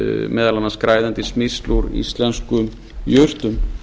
meðal annars græðandi smyrsl úr íslenskum jurtum